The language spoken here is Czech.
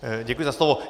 Děkuji za slovo.